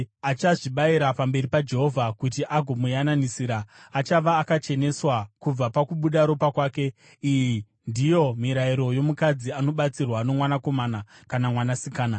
Achazvibayira pamberi paJehovha kuti agomuyananisira, achava akacheneswa kubva pakubuda ropa kwake. “ ‘Iyi ndiyo mirayiro yomukadzi anobatsirwa nomwanakomana kana mwanasikana.